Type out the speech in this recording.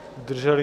Děkuji.